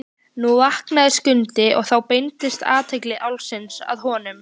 Nú vaknaði Skundi og þá beindist athygli Álfs að honum.